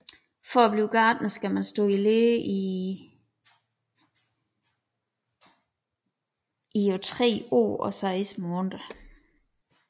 For at blive gartner skal man stå i lære i på 3 år og 8 måneder